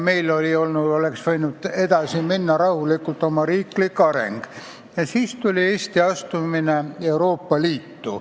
Meie riiklik areng oleks võinud rahulikult edasi minna, aga siis tuli Eesti astumine Euroopa Liitu.